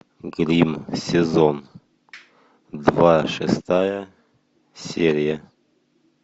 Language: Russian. гримм сезон два шестая серия